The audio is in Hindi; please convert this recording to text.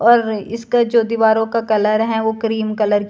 अर्र इसका जो दीवारों का कलर हैं वो क्रीम कलर --